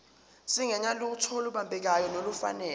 singenalutho olubambekayo nolufanele